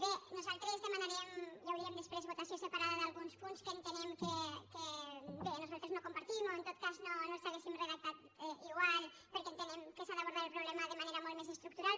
bé nosaltres demanarem ja ho direm després votació separada d’alguns punts que entenem que bé nosaltres no compartim o en tot cas no els hauríem redactat igual perquè entenem que s’ha d’abordar el problema de manera molt més estructural